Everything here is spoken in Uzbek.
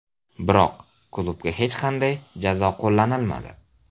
Biroq, klubga hech qanday jazo qo‘llanilmadi.